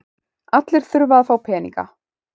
Allir þurfa að fá peninga.